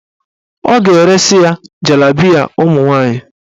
Ọ ga-eresi ya jalabiya ụmụnwaanyị.